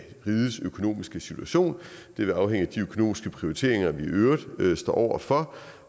rigets økonomiske situation det vil afhænge af de økonomiske prioriteringer vi i øvrigt står over for